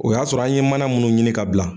O y'a sɔrɔ a ye mana munnu ɲini ka bila